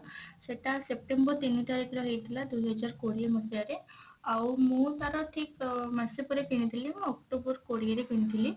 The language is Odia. ସେଟା september ତିନି ତାରିଖ ରେ ହେଇଥିଲା ଦୁଇ ହଜାର କୋଡିଏ ମସିହା ରେ ଆଉ ମୁଁ ତାର ଠିକ ମାସେ ପରେ କିଣିଥିଲି ମୁଁ october କୋଡିଏ ରେ କିଣିଥିଲି